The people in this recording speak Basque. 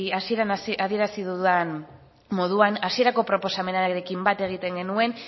hasieran adierazi dudan moduan hasierako proposamenarekin bat egiten genuen